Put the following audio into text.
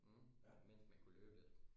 mhm mens man kunne løbe lidt